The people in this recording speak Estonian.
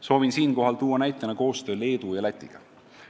Soovin siinkohal tuua näitena koostöö Leedu ja Lätiga.